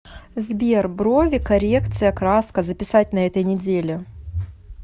сбер брови коррекция краска записать на этой неделе